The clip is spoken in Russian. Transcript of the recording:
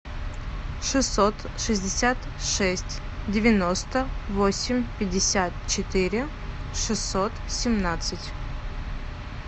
шестьсот шестьдесят шесть девяносто восемь пятьдесят четыре шестьсот семнадцать